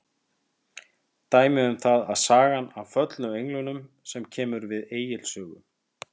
Dæmi um það er sagan af föllnu englunum sem kemur við Egils sögu.